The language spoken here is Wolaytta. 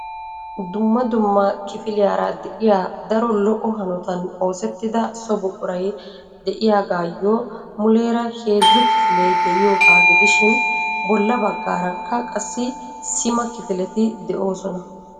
dumma dumma kiliyaara de'iyaa daro lo''o hanotan oosettida so buquray de'iyaagayyo muleera heezzu kifile de'iyooga gidishin bolla baggaaraka qassi sima kifileti de'oosona.